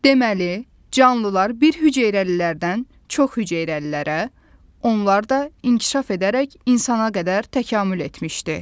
Deməli, canlılar birhüceyrəlilərdən çoxhüceyrəlilərə, onlar da inkişaf edərək insana qədər təkamül etmişdir.